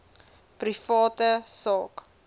private sak